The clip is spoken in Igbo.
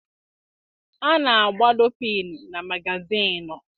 A na-agbado piinu na magazịịnụ.